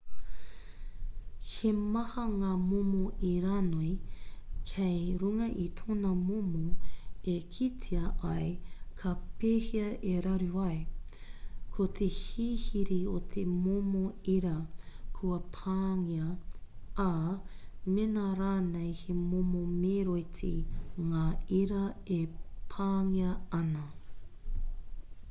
he maha ngā momo iranoi kei runga i tōna momo e kitea ai ka pēhea e raru ai ko te hihiri o te momo ira kua pāngia ā mēnā rānei he momo meroiti ngā ira e pāngia ana